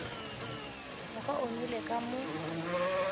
moka o nwelele ka mo